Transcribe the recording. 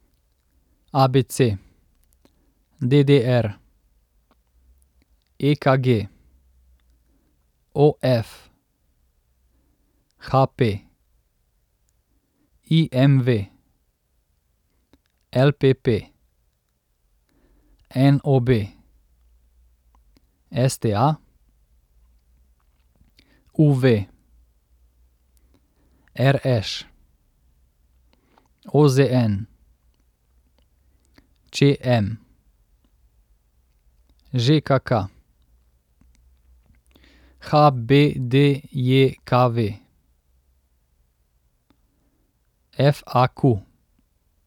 A B C; D D R; E K G; O F; H P; I M V; L P P; N O B; S T A; U V; R Š; O Z N; Č M; Ž K K; H B D J K V; F A Q.